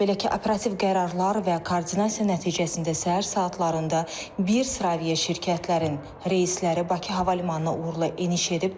Belə ki, operativ qərarlar və koordinasiya nəticəsində səhər saatlarında bir sıra aviaşirkətlərin reysləri Bakı Hava Limanına uğurla eniş edib.